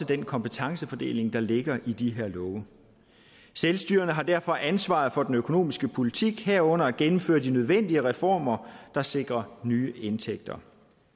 den kompetencefordeling der ligger i de her love selvstyret har derfor ansvaret for den økonomiske politik herunder at gennemføre de nødvendige reformer der sikrer nye indtægter